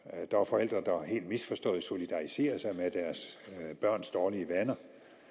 når helt misforstået solidariserer sig med deres børns dårlige vaner